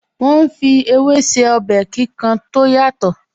Wọ́n ń fi ewé se ọbẹ̀ kíkan tó yàtọ̀